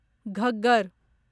Ghaggar